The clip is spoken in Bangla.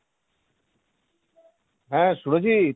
হ্যাঁ সুরজিৎ,